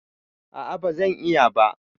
A'a, ba zan iya ba